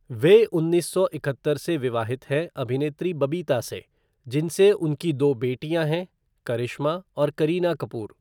वे उन्नीस सौ इकहत्तर से विवाहित हैं अभिनेत्री बबीता से, जिनसे उनकी दो बेटियाँ हैं, करिश्मा और करीना कपूर।